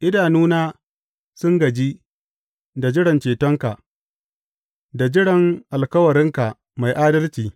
Idanuna sun gaji, da jiran cetonka, da jiran alkawarinka mai adalci.